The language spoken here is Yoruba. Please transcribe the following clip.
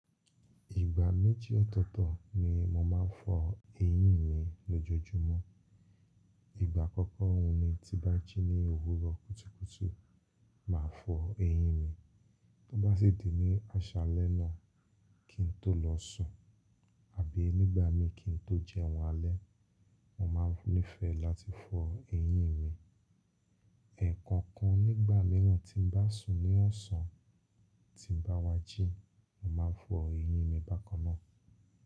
Ìgbà méjì ọ̀tọ̀ọ̀tọ̀ ni mo máa ń fọ eyín mi lójoojúmọ́. Ìgbà àkọ́kọ́ òun ni tí bá jí ní òwúrọ̀ kùtùkùtù, màá fọ eyín mi. Tó bá sì di ní àṣálẹ́ náà kí n tó lọ sùn àbí nígbà mi kí n tó jẹun alẹ́, mo máa nífẹ̀ẹ́ láti fọ eyín mi. Ẹ̀ẹ̀ko kan nígbà mìíràn tí n bá sùn ní ọ̀sán tí n bá wá jí, mo máa n fọ eyín mi bákan náà.